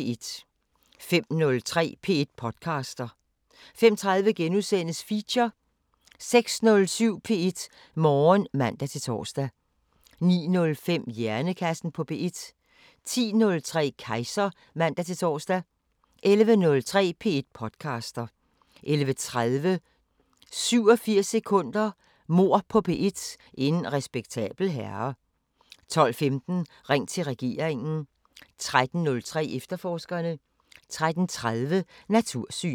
05:03: P1 podcaster 05:30: Feature * 06:07: P1 Morgen (man-tor) 09:05: Hjernekassen på P1 10:03: Kejser (man-ons) 11:03: P1 podcaster 11:30: 87 sekunder – Mord på P1: En respektabel herre 12:15: Ring til regeringen 13:03: Efterforskerne 13:30: Natursyn